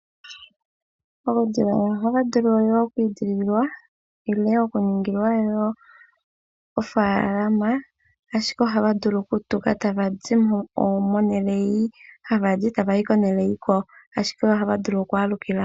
Uudhila oya wu vulu oku edhililwa nenge okuningilwa wo ofaalama, ashike oha wu vulu okutuka tawu zi mo mehala mu hawu zi ashike ohawu vulu okugalukila mo.